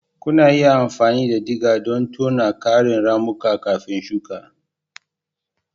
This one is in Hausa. Kuna iya amfani da digger don tona ƙarin ramuka kafin shuka.